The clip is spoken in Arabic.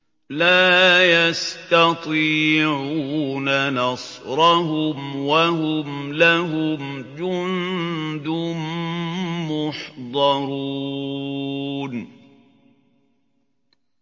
لَا يَسْتَطِيعُونَ نَصْرَهُمْ وَهُمْ لَهُمْ جُندٌ مُّحْضَرُونَ